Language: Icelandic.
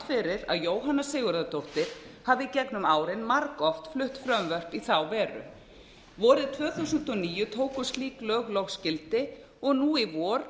fyrir að jóhanna sigurðardóttir hafi í gegnum árin margoft flutt frumvörp í þá veru vorið tvö þúsund og níu tóku slík lög loks gildi og nú í vor